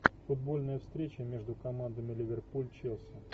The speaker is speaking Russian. футбольная встреча между командами ливерпуль челси